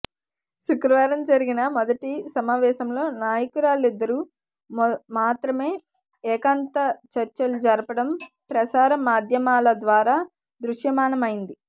శుక్రవారం జరిగిన మొదటి సమావేశంలో నాయకులిద్దరూ మాత్రమే ఏకాంత చర్చలు జరపడం ప్రసార మాధ్యమాల ద్వారా దృశ్యమానమైంది